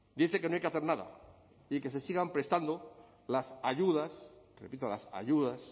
dice que no hay que hacer nada y que se sigan prestando las ayudas repito las ayudas